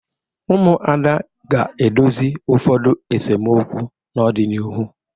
Ụmụada ga-edozi ụfọdu esemokwu n'ọdịnihu.